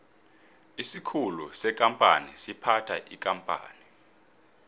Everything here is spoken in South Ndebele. isikhulu sekampani siphatha ikampani